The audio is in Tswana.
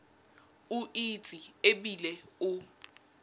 o itse e bile o